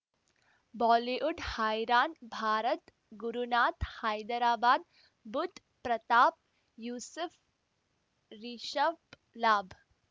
Bollywood ಹೈರಾಣ್ ಭಾರತ್ ಗುರುನಾಥ್ ಹೈದರಾಬಾದ್ ಬುಧ್ ಪ್ರತಾಪ್ ಯೂಸುಫ್ ರಿಷಬ್ ಲಾಭ್